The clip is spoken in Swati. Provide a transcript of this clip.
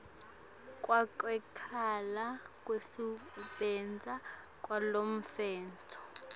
kwekucala kwekusebenta kwalomtsetfo